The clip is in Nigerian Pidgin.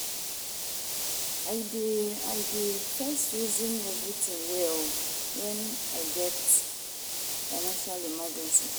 I dey I dey first resin everytin well wen I get financial emergency.